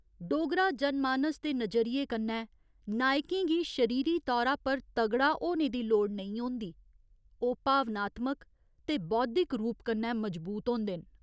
डोगरा जनमानस दे नजरिये कन्नै नायकें गी शरीरी तौरा पर तगड़ा होने दी लोड़ नेईं होंदी, ओह् भावनात्मक ते बौद्धिक रूप कन्नै मजबूत होंदे न।